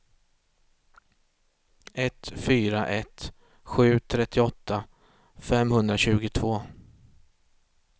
ett fyra ett sju trettioåtta femhundratjugotvå